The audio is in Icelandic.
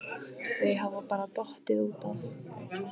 Þau hafa bara dottið út af